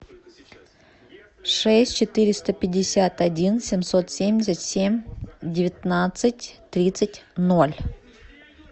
шесть четыреста пятьдесят один семьсот семьдесят семь девятнадцать тридцать ноль